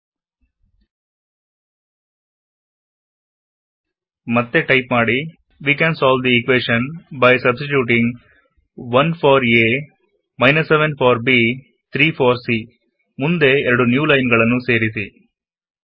type ಮಾಡಿ ಮತ್ತೇ ಎರಡು ನ್ಯೂ ಲೈನ್ ಗಳನ್ನು we can solve the equation by substituting 1 for a 7 for b 3 for c ನ ಮುಂದೆ ಸೇರಿಸಿ